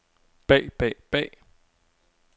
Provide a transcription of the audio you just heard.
bag bag bag